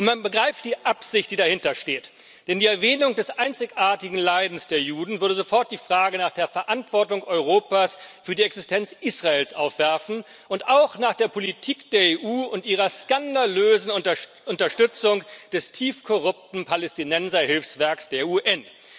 Man begreift die Absicht, die dahintersteht, denn die Erwähnung des einzigartigen Leidens der Juden würde sofort die Frage nach der Verantwortung Europas für die Existenz Israels aufwerfen und auch nach der Politik der EU und ihrer skandalösen Unterstützung des tief korrupten Palästinenserhilfswerks der UN.